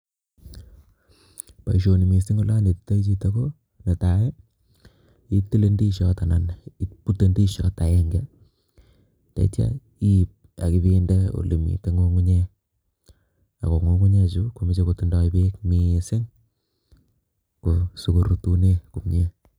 Boisoni mising olee anetioi chito ko nee tai itile indishot anan ibute indishot agenge ndaitya iib ak binde ole Mii ng'ung'unyek ako ng'ung'unyek chu komechei kotindoi beek mising asi korutune